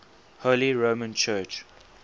holy roman church